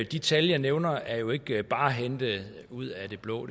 de tal jeg nævner er jo ikke bare hentet ud af det blå